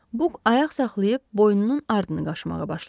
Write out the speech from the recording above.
Buk ayaq saxlayıb boynunun ardını qaşımağa başladı.